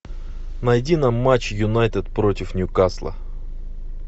найди нам матч юнайтед против ньюкасла